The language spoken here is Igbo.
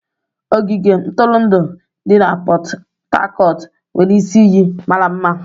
Ogige ntụrụndụ di na Pot Tarcot nwere isi iyi mara mma.